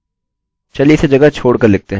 चलिए इसे जगह छोड़ कर लिखते हैं